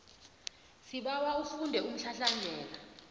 sibawa ufunde umhlahlandlela